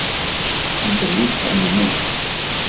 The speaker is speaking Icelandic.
Hann fer líka inn á mig.